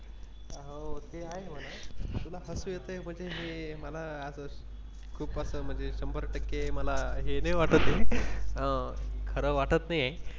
हो ते आहे म्हणून तुला हसू येते म्हणजे हे मला असं खूप असं म्हणजे शंभर टक्के मला हे नाही वाटते खरं वाटत नाही.